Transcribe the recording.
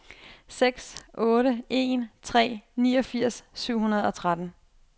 seks otte en tre niogfirs syv hundrede og tretten